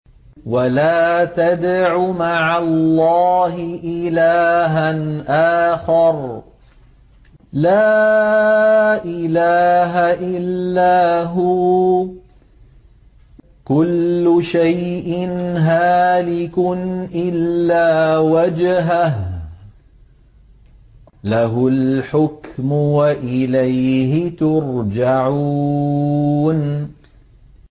وَلَا تَدْعُ مَعَ اللَّهِ إِلَٰهًا آخَرَ ۘ لَا إِلَٰهَ إِلَّا هُوَ ۚ كُلُّ شَيْءٍ هَالِكٌ إِلَّا وَجْهَهُ ۚ لَهُ الْحُكْمُ وَإِلَيْهِ تُرْجَعُونَ